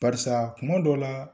Barisa kuma dɔ la